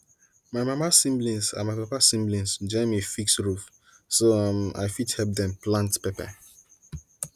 my mama siblings and my papa siblings join me fix roof so um i fit help them plant pepper